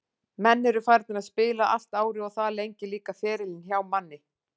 Menn eru farnir að spila allt árið og það lengir líka ferilinn hjá manni.